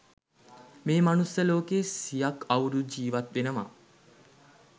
මේ මනුස්ස ලෝකයේ සියක් අවුරුදු ජීවත් වෙනවා